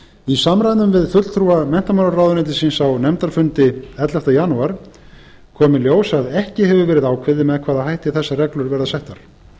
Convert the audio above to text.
í samræmi við fulltrúa menntamálaráðuneytisins á nefndarfundi ellefta janúar kom í ljós að ekki hefur verið ákveðið með hvaða hætti þessar reglur verða settar